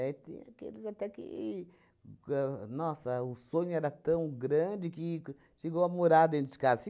Tem aqueles até que gan... Nossa, o sonho era tão grande que chegou a morar dentro de casa.